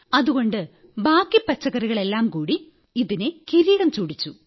അതുകൊണ്ട് ബാക്കി പച്ചക്കറികളെല്ലാം കൂടി ഇതിനെ കിരീടം ചൂടിച്ചു